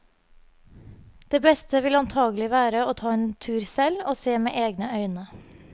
Det beste vil antakelig være å ta en tur selv og se med egne øye.